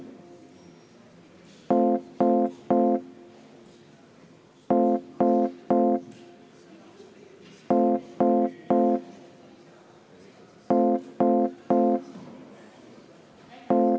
Kohaloleku kontroll Kohal on 32 Riigikogu liiget.